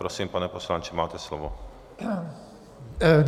Prosím, pane poslanče, máte slovo.